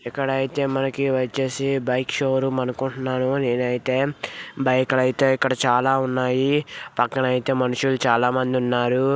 ఇక్కడ అయితే మనకి వచ్చేసి బైక్ షో రూమ్ అనుకుంటున్నాను నేనైతే బైక్ ల అయితే ఇక్కడ చాలా ఉన్నాయి పక్కన అయితే మనుషులు చాలామంది ఉన్నారు.